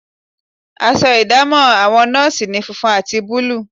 Aṣọ ìdámọ̀ àwọn nọ́ọ̀sì ni funfun àti búlúù